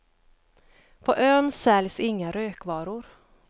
På ön säljs inga rökvaror.